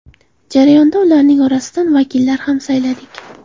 Jarayonda ularning orasidan vakillar ham sayladik.